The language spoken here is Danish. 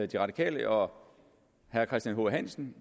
de radikale og herre christian h hansen